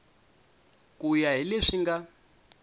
ku ya hi leswi nga